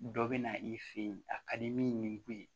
Dɔ bɛ na i fɛ yen a ka di min kun ye